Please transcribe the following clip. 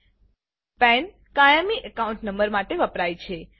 પાન પેન કાયમી account number માટે વપરાય છે